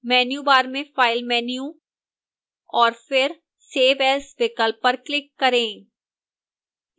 menu bar में file menu और फिर save as विकल्प पर click करें